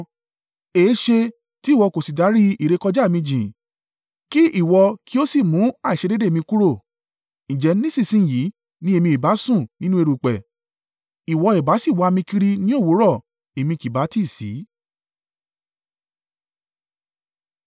Èéṣe tí ìwọ kò sì dárí ìrékọjá mi jìn, kí ìwọ kí ó sì mú àìṣedéédéé mi kúrò? Ǹjẹ́ nísinsin yìí ni èmi ìbá sùn nínú erùpẹ̀, ìwọ ìbá sì wá mi kiri ní òwúrọ̀, èmi kì bá tí sí.”